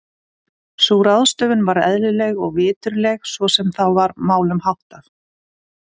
Sú ráðstöfun var eðlileg og viturleg svo sem þá var málum háttað.